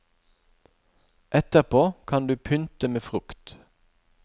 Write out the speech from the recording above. Etterpå kan du pynte med frukt.